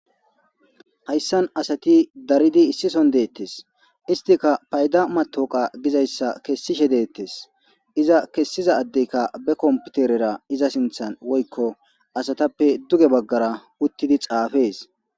Hayisan asati daridi issi sohon detes hostika payida matawuqe gizayisa kesishe de'etes iza kesida adeka be kompiterera iza sinthan woyiko asatappe duge bagara utidi xafes